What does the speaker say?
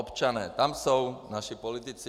Občané - tam jsou naši politici.